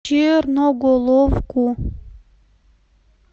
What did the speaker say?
черноголовку